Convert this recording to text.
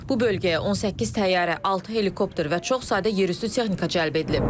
Bu bölgəyə 18 təyyarə, altı helikopter və çox sayda yerüstü texnika cəlb edilib.